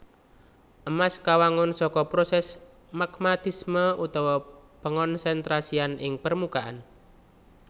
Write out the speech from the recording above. Emas kawangun saka prosès magmatisme utawa pangonsentrasian ing permukaan